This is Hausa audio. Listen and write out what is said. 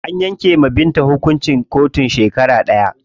An yanke wa Binta hukuncin ɗaurin shekara ɗaya.